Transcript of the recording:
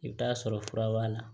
I bɛ t'a sɔrɔ fura b'a la